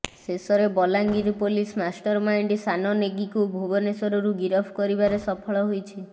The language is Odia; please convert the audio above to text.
ଶେଷରେ ବଲାଙ୍ଗିର ପୋଲିସ ମାଷ୍ଟରମାଇଣ୍ଡ ସାନ ନେଗୀକୁ ଭୁବନେଶ୍ୱରରୁ ଗିରଫ କରିବାରେ ସଫଳ ହୋଇଛି